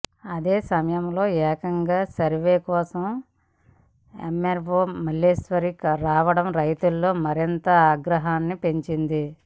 అదే సమయంలో ఏకంగా సర్వే కోసం ఎమ్మార్వో మల్లేశ్వరి రావడం రైతుల్లో మరింత ఆగ్రహాన్ని పెంచింది